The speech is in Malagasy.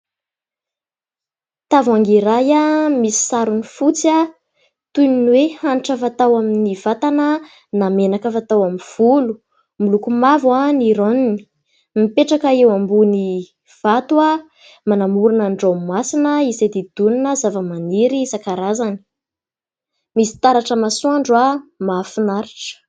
Tavoahangy iray misy sarony fotsy, toy ny hoe hanitra fatao amin'ny vatana na menaka fatao amin'ny volo. Miloko mavo ny ranony. Mipetraka eo ambony vato manamorona ny ranomasina izay hodidinina zavamaniry isan-karazany. Misy taratra masoandro mahafinaritra.